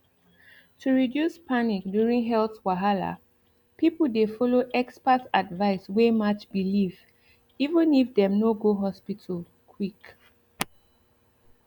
to reduce panic during health wahala people dey follow expert advice wey match belief even if dem no go hospital quick